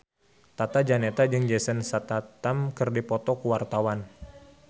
Tata Janeta jeung Jason Statham keur dipoto ku wartawan